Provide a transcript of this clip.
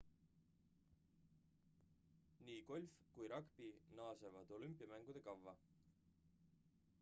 nii golf kui ragbi naasevad olümpiamängude kavva